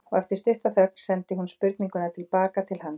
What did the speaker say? Og eftir stutta þögn sendi hún spurninguna til baka til hans.